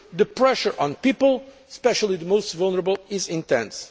The pressure on people, especially the most vulnerable, is intense.